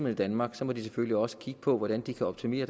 i danmark må den selvfølgelig også kigge på hvordan den kan optimere